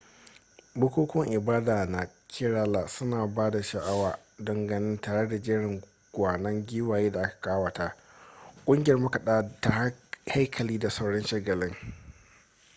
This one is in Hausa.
bukukuwan ibada na kerala suna da ban sha'awa don gani tare da jerin gwanon giwaye da aka kawata ƙungiyar makaɗa ta haikali da sauran shagalin